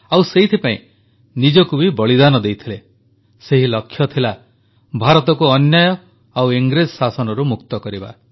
ଆଉ ସେଇଥିପାଇଁ ନିଜକୁ ବି ବଳିଦାନ ଦେଇଥିଲେ ସେହି ଲକ୍ଷ୍ୟ ଥିଲା ଭାରତକୁ ଅନ୍ୟାୟ ଓ ଇଂରେଜ ଶାସନରୁ ମୁକ୍ତ କରିବା